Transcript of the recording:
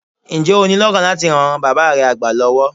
Ǹjẹ́ o ní lọ́kàn láti ran bàab́ re àgbà lọ́wọ́?